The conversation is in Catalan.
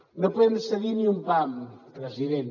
no podem cedir ni un pam president